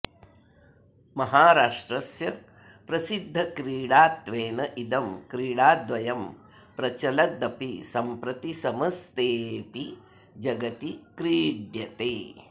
महाराष्ट्रस्य प्रसिद्धक्रीडात्वेन इदं क्रीडाद्वयं प्रचलदपि सम्प्रति समस्तेऽपि जगति क्रीड्यते